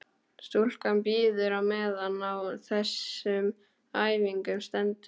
Stúlkan bíður á meðan á þessum æfingum stendur.